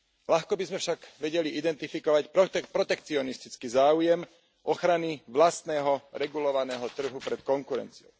Ľahko by sme však vedeli identifikovať protekcionistický záujem ochrany vlastného regulovaného trhu pred konkurenciou.